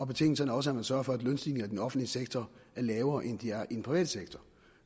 betingelsen er også at man sørger for at lønstigningerne i den offentlige sektor er lavere end de er i den private sektor